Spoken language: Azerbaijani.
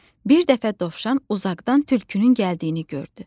Bir dəfə dovşan uzaqdan tülkünün gəldiyini gördü.